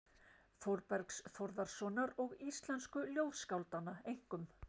Þórbergs Þórðarsonar og íslensku ljóðskáldanna, einkum